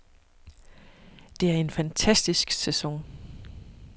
Det er en fantastisk sæson.